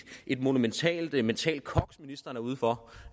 monumentalt mentalt koks ministeren er ude for